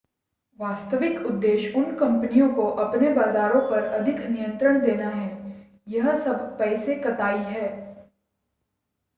वास्तविक उद्देश्य उन कंपनियों को अपने बाज़ारों पर अधिक नियंत्रण देना है यह सब पैसे कताई है